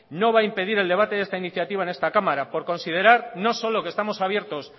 no va a impedir el debate de esta iniciativa en esta cámara por considerar no solo que estamos abiertos